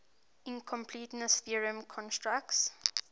incompleteness theorem constructs